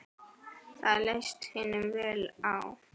Það leist hinum vel á.